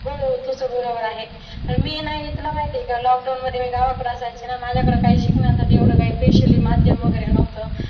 हो तसं बरोबर आहे. पण मी ना तुला माहिती आहे का lockdown मध्ये मी गावाकडे असायचे ना माझ्याकडे काही शिकण्यासाठी एवढं काही special माध्यम वगैरे नव्हतं.